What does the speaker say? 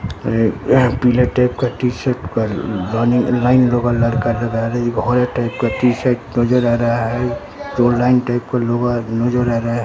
ए एह पीला टाइप का टी-शर्ट पर लानी लाइन लगल लड़का एक होरा टाइप का टी-शर्ट नजर आ रहा है जो लाइन टाइप का लोअर नजर आ रहा हे।